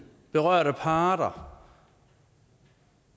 berørte parter